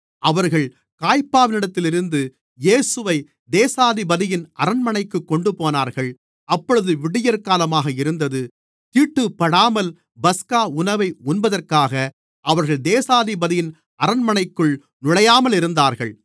அவர்கள் காய்பாவினிடத்திலிருந்து இயேசுவைத் தேசாதிபதியின் அரண்மனைக்குக் கொண்டுபோனார்கள் அப்பொழுது விடியற்காலமாக இருந்தது தீட்டுப்படாமல் பஸ்கா உணவை உண்பதற்காக அவர்கள் தேசாதிபதியின் அரண்மனைக்குள் நுழையாமலிருந்தார்கள்